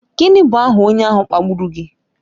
Gịnị bụ aha onye ahụ kpagburu gị?